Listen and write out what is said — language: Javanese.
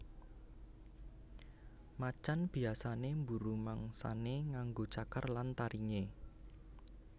Macan biyasané mburu mangsané nganggo cakar lan taringé